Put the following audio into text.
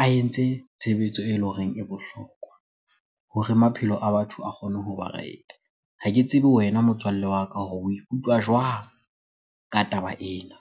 a entse tshebetso ele horeng e bohlokwa hore maphelo a batho a kgone hoba right-e. Ha ke tsebe wena motswalle wa ka hore o ikutlwa jwang ka taba ena?